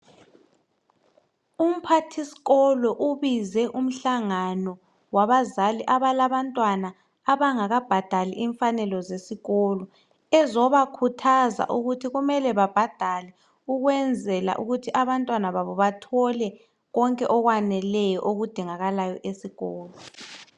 Umphathisikolo ubize umhlangano wabazali abalabantwa abangakabhadali imfanelo zesikolo, bezobakhuthaza ukuthi kumele babhadale ukuze abantwana babo bathole konke okwaneleyo okudingakalayo esikolo.